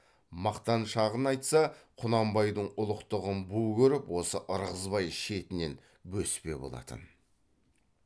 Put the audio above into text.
мақтаншағын айтса құнанбайдың ұлықтығын бу көріп осы ырғызбай шетінен бөспе болатын